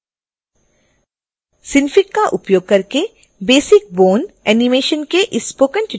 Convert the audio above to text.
synfig का उपयोग करके basic bone animation के इस स्पोकन ट्यूटोरियल में आपका स्वागत है